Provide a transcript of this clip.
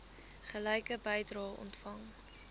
gelyke bedrae ontvang